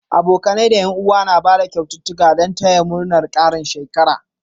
Abokanai da Yan uwa na Bada kyaututtuƙa Dan taya murnar Karin shekara